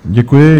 Děkuji.